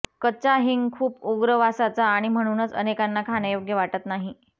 कच्चा हिंग खूप उग्र वासाचा आणि म्हणूनच अनेकांना खाण्यायोग्य वाटत नाही